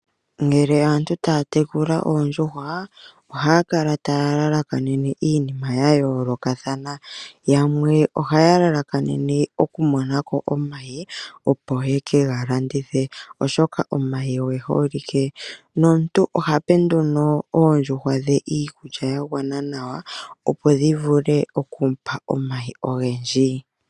Ngele aantu taya tekula oondjuhwa ohaya kala taya lalakanene iinima ya yoolokathana. Yamwe oha ya lalakanene okumona ko omayi opo ye ke galandithe oshoka omayi oge holike. Nomuntu ohape nduno oondjuhwa dhe iikulya ya gwana nawa opo dhi vule oku mupa omayi ogendji.